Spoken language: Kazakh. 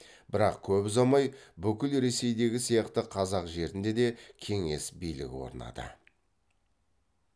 бірақ көп ұзамай бүкіл ресейдегі сияқты қазақ жерінде де кеңес билігі орнады